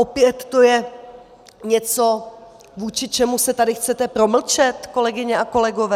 Opět to je něco, vůči čemu se tady chcete promlčet, kolegyně a kolegové?